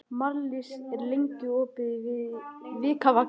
Marlís, hvað er lengi opið í Vikivaka?